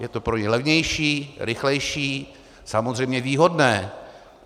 Je to pro ně levnější, rychlejší, samozřejmě výhodné.